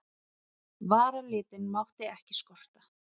Varalitinn mátti ekki skorta.